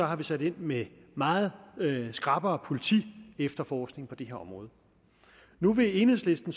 har vi sat ind med meget skrappere politiefterforskning på det her område nu vil enhedslisten